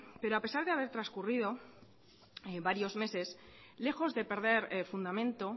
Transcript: pero a pesar de haber trascurrido varios meses lejos de perder fundamento